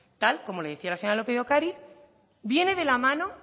tal como le decía la señora lópez de ocariz viene de la mano